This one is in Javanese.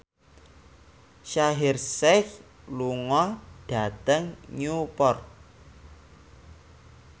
Shaheer Sheikh lunga dhateng Newport